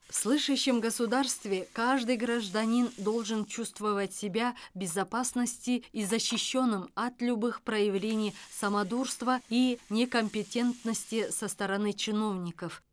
в слышащем государстве каждый гражданин должен чувствовать себя в безопасности и защищенным от любых проявлений самодурства и некомпетентности со стороны чиновников